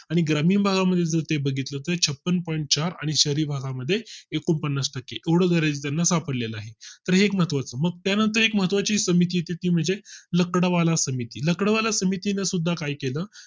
आणि ग्रामीण भागा मध्ये जर ते बघितलं तर छप्पन point चार आणि शहरी भागा मध्ये एकोणपन्नास टक्के एवढं दारिद्र त्याना सापडले आहे. तर एक महत्वा चं मग त्यानंतर एक महत्वा ची समिती ती म्हणजे लकडावाला समिती, लकडावाला समितीने सुद्धा काय केलं